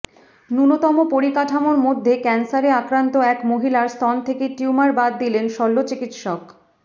ন্যূনতম পরিকাঠামোর মধ্যে ক্যানসারে আক্রান্ত এক মহিলার স্তন থেকে টিউমার বাদ দিলেন শল্যচিকিৎসক